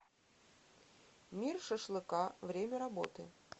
мир шашлыка время работы